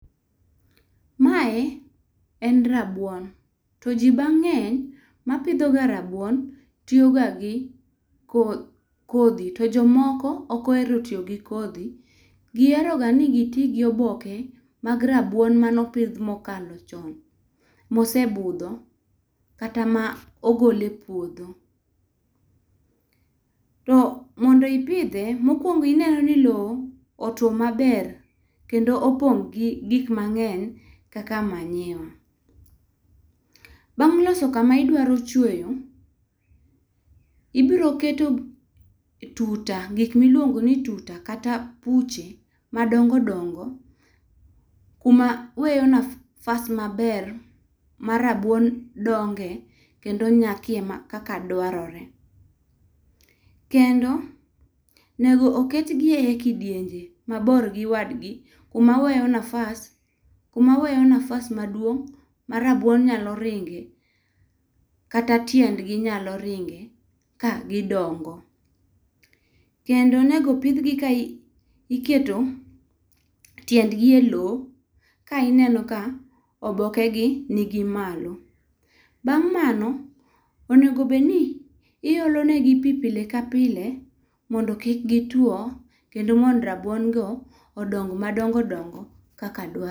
Mae en rabuon, to ji mang'eny mapidho ga rabuon tiyo ga gi kodhi to jomoko ok ohero tiyo gi kodhi. Giheroga ni giti gi oboke mag rabuon mane opidh mokalo chon, mosebudho kata ma ogol e puodho. To mondo ipidhe, mokwongo ineno ni lowo otuwo maber kendo opong' gi gik mang'eny kaka manyiwa. Bang' loso kama idwaro chweyo, ibiro keto tuta, gik miluongoni tuta kata buche madongo dongo kuma weyo nafasi maber ma rabuon dongoe kendo nyakie ma kaka dwarore. Kendo onego ketgi e kidienje mabor gi wadgi kuma weyo nafasi maduong' ma rabuon nyalo ringe kata tiendgi nyalo ringe ka gidongo. Kendo nego opidhgi ka iketo tiendgi e lowo ka ineno ka obokegi nigi malo. Bang' mano, onego obed ni iolo negi pi pile ka pile mondo kik gituwo kendo mondo rabuon go odong' madongo dongo kaka dwarore.